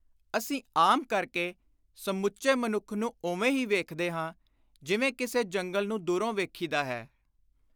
ਅਸੀਂ ਆਮ ਕਰਕੇ ਸਮੁੱਚੇ ਮਨੁੱਖ ਨੂੰ ਉਵੇਂ ਹੀ ਵੇਖਦੇ ਹਾਂ ਜਿਵੇਂ ਕਿਸੇ ਜੰਗਲ ਨੂੰ ਦੁਰੋਂ ਵੇਖੀਦਾ ਹੈ।